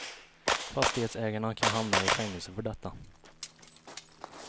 Fastighetsägarna kan hamna i fängelse för detta.